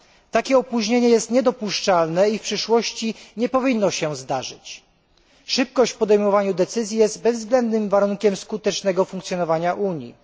Takie opóźnienie jest niedopuszczalne i w przyszłości nie powinno się powtórzyć. Szybkość podejmowania decyzji jest bezwzględnym warunkiem skutecznego funkcjonowania Unii.